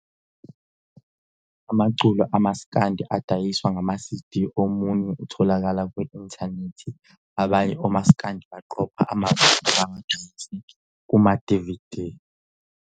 Amaculo amasikandi adiyiswa ngama sidi omunye utholakala kwi-intanethi, banye omasikandi baqopha amavidiyo bawadayise kuma dividi.